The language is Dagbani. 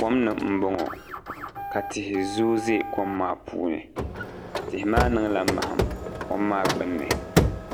Kom ni n boŋo ka tihi zooi ʒɛ kom maa puuni tihi maa niŋla maham kom maa gbunni